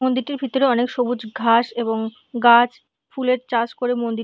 মন্দিরটির ভিতরে অনেক সবুজ ঘাস এবং গাছ ফুলের চাষ করে মন্দির--